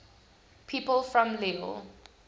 people from lille